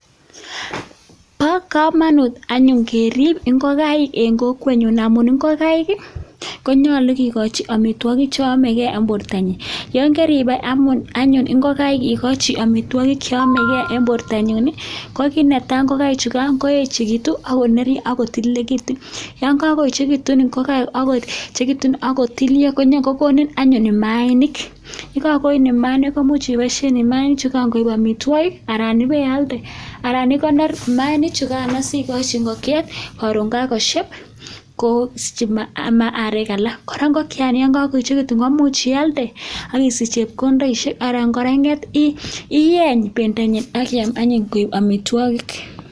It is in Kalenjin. Bo kamanut anyun keriip ingokaik eng kokwenyun amun ingokaik konyolu kikochi amitwokik che yomekei eng bortonyin, yon keriip anyun ingokaik ikochi amitwokik che yomekei eng borto nyin ko kit netai, ingokaik chukan koechekitu ako nerio ako tililekitu, yon kakoechekitu ingokaik ako nyokotilio kokonin akot mayainik, ye kakonini mayainik komuch ipoishen mayainik chukan koek amitwokik anan ipealde anan ikonor mayainik chukano sikochi ingokiet karon kakoshep kosiche arek alak. Kora ingokiani ye kakoechekitun komuch ialde akisich chepkondoishek anan kora inget iyeen pendonyin akiam anyun koek amitwokik.